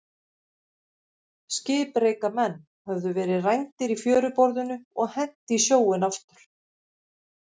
Skipreika menn höfðu verið rændir í fjöruborðinu og hent í sjóinn aftur.